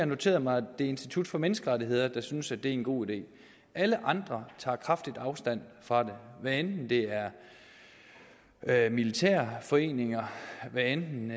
noteret mig at det er institut for menneskerettigheder der synes at det er en god idé alle andre tager kraftigt afstand fra det hvad enten det er er militærforeninger hvad enten